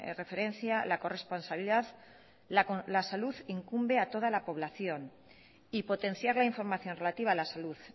referencia la corresponsabilidad la salud incumbe a toda la población y potenciar la información relativa a la salud